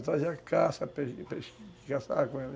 Eu trazia caça caçava com ela